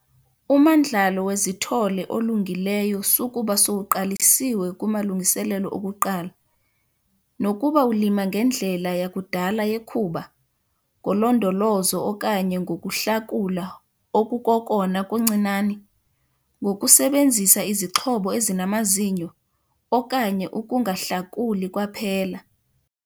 Umandlalo wezithole olungileyo sukuba sowuqalisiwe kumalungiselelo okuqala, nokuba ulima ngendlela yakudala yekhuba, ngolondolozo okanye ngokuhlakula okukokona kuncinane, ngokusebenzisa izixhobo ezinamazinyo, okanye ukungahlakuli kwaphela.